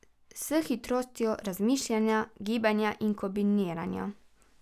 S hitrostjo razmišljanja, gibanja in kombiniranja.